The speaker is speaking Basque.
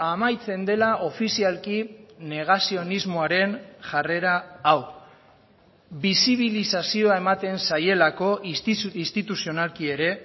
amaitzen dela ofizialki negazionismoaren jarrera hau bisibilizazioa ematen zaielako instituzionalki ere